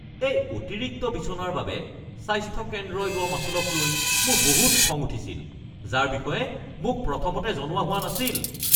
এই অতিৰিক্ত বিছনাৰ বাবে স্বাস্থ্য কেন্দ্ৰই লোৱা মাচুলকলৈ মোৰ বহুত খং উঠিছিল যাৰ বিষয়ে মোক প্ৰথমতে জনোৱা হোৱা নাছিল।